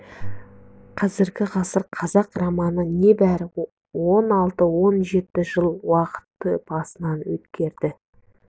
қазіргі ғасыр қазақ романы не бәрі он алты-он жеті жылдық уақытты басынан өткерді